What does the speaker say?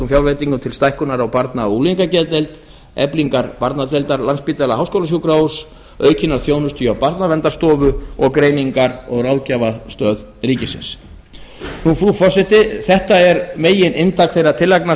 fjárveitingum til stækkunar á barna og unglingageðdeild eflingar barnadeildar lsh aukinnar þjónustu hjá barnaverndarstofu og greiningar og ráðgjafarstöð ríkisins frú forseti þetta er megininntak þeirra tillagna